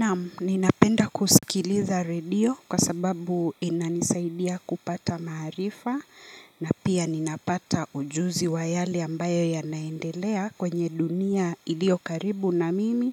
Naam, ninapenda kusikiliza redio kwa sababu inanisaidia kupata maarifa na pia ninapata ujuzi wa yale ambayo yanaendelea kwenye dunia iliyo karibu na mimi